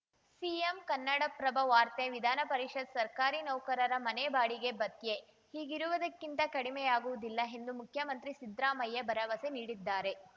CM Kannadaprabha ವಾರ್ತೆ ವಿಧಾನ ಪರಿಷತ್‌ ಸರ್ಕಾರಿ ನೌಕರರ ಮನೆ ಬಾಡಿಗೆ ಭತ್ಯೆ ಈಗಿರುವುದಕ್ಕಿಂತ ಕಡಿಮೆಯಾಗುವುದಿಲ್ಲ ಎಂದು ಮುಖ್ಯಮಂತ್ರಿ ಸಿದ್ರಾಮಯ್ಯ ಭರವಸೆ ನೀಡಿದ್ದಾರೆ